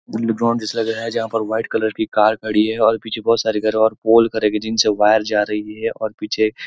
underground dish लग रहा है जहा पर व्हाइट कलर कि कार खड़ी है और पीछे बहुत सारे घर है और पोल का है और जिनसे वायर जा रही है और पीछे --